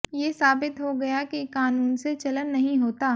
ये साबित हो गया कि कानून से चलन नहीं होता